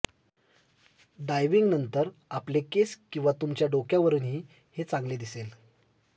diving नंतर आपले केस किंवा तुमच्या डोक्यावरूनही हे चांगले दिसेल